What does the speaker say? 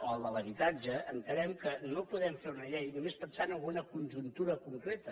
o el de l’habitatge entenem que no podem fer una llei només pensant en una conjuntura concreta